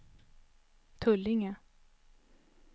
Tullinge